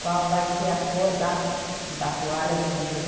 Qual vai ser a cor da da toalha de mesa?